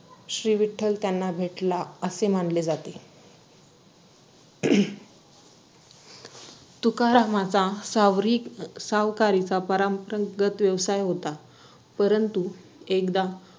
तो एका चांगल्या call centre मध्ये काम करत होता and त्यांच्या नंतर असं झालं की तो त्यांचे documents submitted करायला त्यांचे जे HR होते ते त्यांचा कडे गेलेला, त्यांची personality पण खूप चांगली होती. नुकत लग्न झालेल त्याच